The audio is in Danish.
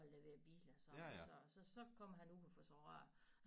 Og leverer biler sådan og så så kommer han ud og får så rørt